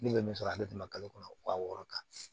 Ne bɛ min sɔrɔ ale tɛ na kalo kɔnɔ waa wɔɔrɔ kan